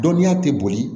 Dɔnniya tɛ boli